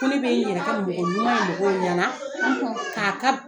Ko ne bɛ n yɛrɛ kɛ mɔgɔ ɲuman ye mɔgɔw ɲɛ nan; k' a ka